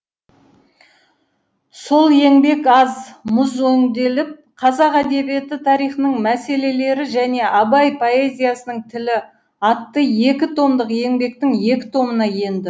сол еңбек аз мұз өңделіп қазақ әдебиеті тарихының мәселелері және абай поэзиясының тілі атты екі томдық еңбектің іі томына енді